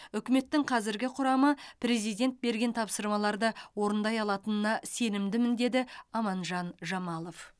үкіметтің қазіргі құрамы президент берген тапсырмаларды орындай алатынына сенімдімін деді аманжан жамалов